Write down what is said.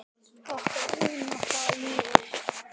Okkar vinátta lifir.